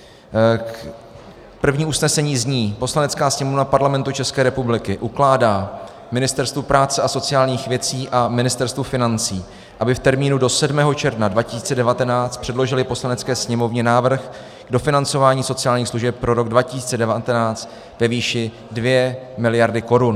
První usnesení zní: "Poslanecká sněmovna Parlamentu České republiky ukládá Ministerstvu práce a sociálních věcí a Ministerstvu financí, aby v termínu do 7. června 2019 předložila Poslanecké sněmovně návrh dofinancování sociálních služeb pro rok 2019 ve výši dvě miliardy korun."